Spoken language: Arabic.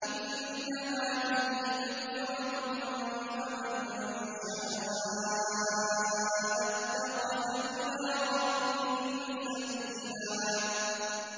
إِنَّ هَٰذِهِ تَذْكِرَةٌ ۖ فَمَن شَاءَ اتَّخَذَ إِلَىٰ رَبِّهِ سَبِيلًا